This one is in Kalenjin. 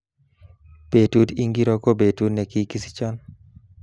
Betut ingiro ko betut nekikisichon